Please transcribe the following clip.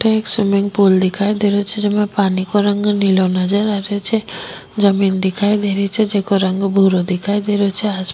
अठ एक swimming pool दिखाई दे रो छे जेमे पानी को रंग नीलो नजर आ रो छे जमीं दिखाई दे री छे जेको रंग भूरो दिखाई दे रो छे आसमान --